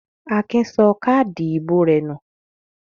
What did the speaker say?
Akin sọ káádì ìbò rẹ̀ nù?